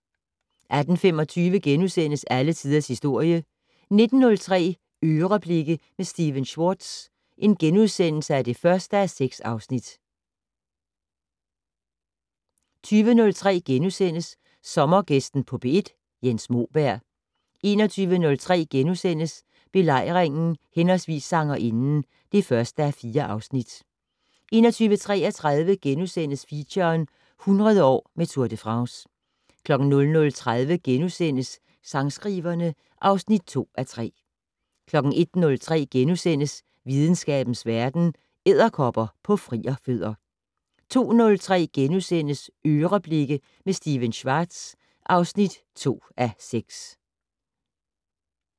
18:25: Alle tiders historie * 19:03: "Øreblikke" med Stephen Schwartz (1:6)* 20:03: Sommergæsten på P1: Jens Moberg * 21:03: Belejringen/Sangerinden (1:4)* 21:33: Feature - 100 år med Tour de France * 00:30: Sangskriverne (2:3)* 01:03: Videnskabens Verden: Edderkopper på frierfødder * 02:03: "Øreblikke" med Stephen Schwartz (2:6)*